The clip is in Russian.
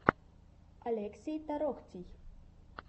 олексий тороктий